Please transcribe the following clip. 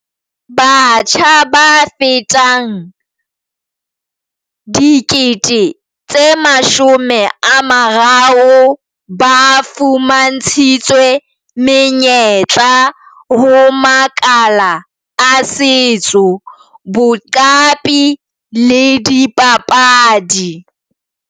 Batjha ba fetang 30 000 ba fuma ntshitswe menyetla ho makala a setso, boqapi le dipapadi.